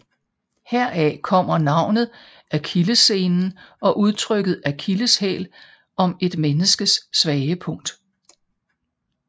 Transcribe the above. Heraf kommer navnet akillessenen og udtrykket akilleshæl om et menneskes svage punkt